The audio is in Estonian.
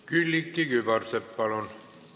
Külliki Kübarsepp, palun!